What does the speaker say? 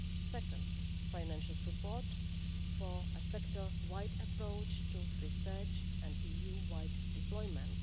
Second, financial support for a sector wide approach to research and EU-wide deployment.